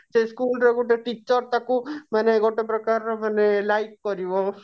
ସେଇ school ରେ ଗୁଟେ teacher ତାକୁ ମାନେ ଗୋଟେ ପ୍ରକାର ର ମାନେ like କରିବ